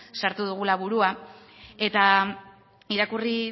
sartu dugula burua eta irakurri